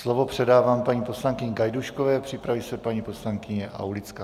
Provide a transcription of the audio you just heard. Slovo předávám paní poslankyni Gajdůškové, připraví se paní poslankyně Aulická.